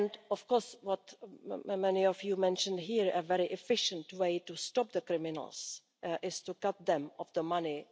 Of course, as many of you mentioned here, a very efficient way to stop the criminals is to cut them off from the money.